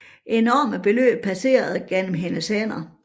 Enorme beløb passerede gennem hendes hænder